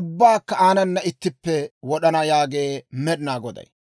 ubbaakka aanana ittippe wod'ana» yaagee Med'inaa Goday.